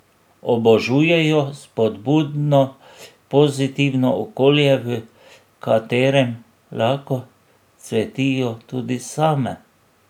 Obožujejo spodbudno, pozitivno okolje, v katerem lahko cvetijo tudi same.